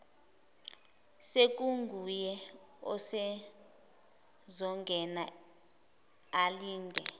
sekunguye usezongena alinde